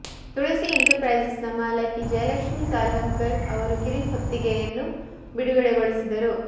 ತುಳಸಿ enterprises ನ ಮಾಲಕಿ ಜಯಲಕ್ಷ್ಮಿ ಸಾಲ್ವಂಕರ್ ಅವರು ಕಿರು ಹೊತ್ತಗೆಯನ್ನು ಬಿಡುಗಡೆಗೊಳಿಸಿದರು